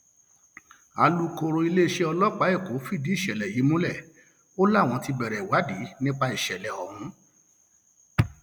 alūkkóró iléeṣẹ ọlọpàá èkó fìdí ìṣẹlẹ yìí múlẹ o láwọn ti bẹrẹ ìwádìí nípa ìṣẹlẹ ọhún